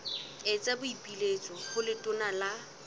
etsa boipiletso ho letona la